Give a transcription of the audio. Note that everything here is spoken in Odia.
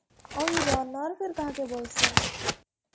ଆଉ runner କାହାକେ ବୋଲସନ୍?